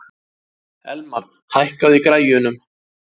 Elmar, hækkaðu í græjunum.